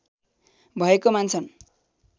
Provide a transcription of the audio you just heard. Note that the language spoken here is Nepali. भएको मान्छन्